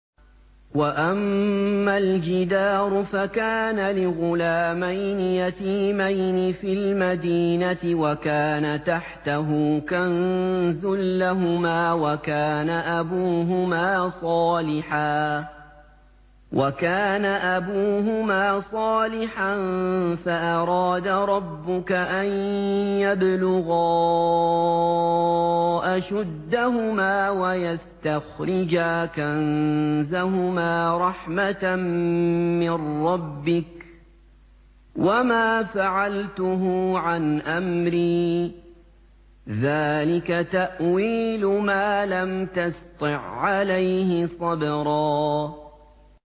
وَأَمَّا الْجِدَارُ فَكَانَ لِغُلَامَيْنِ يَتِيمَيْنِ فِي الْمَدِينَةِ وَكَانَ تَحْتَهُ كَنزٌ لَّهُمَا وَكَانَ أَبُوهُمَا صَالِحًا فَأَرَادَ رَبُّكَ أَن يَبْلُغَا أَشُدَّهُمَا وَيَسْتَخْرِجَا كَنزَهُمَا رَحْمَةً مِّن رَّبِّكَ ۚ وَمَا فَعَلْتُهُ عَنْ أَمْرِي ۚ ذَٰلِكَ تَأْوِيلُ مَا لَمْ تَسْطِع عَّلَيْهِ صَبْرًا